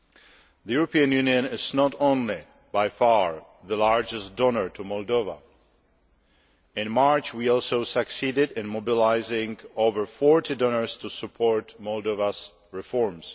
The European Union is not only by far the largest donor to Moldova, but in March also succeeded in mobilising over forty donors to support Moldova's reforms.